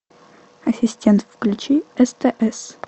ассистент включи стс